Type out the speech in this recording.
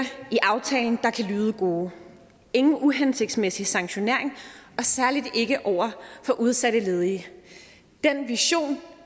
i aftalen der kan lyde gode ingen uhensigtsmæssig sanktionering og særlig ikke over for udsatte ledige den vision